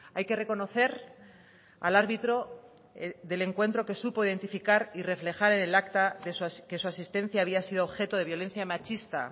hay que reconocer al árbitro del encuentro que supo identificar y reflejar en el acta que su asistencia había sido objeto de violencia machista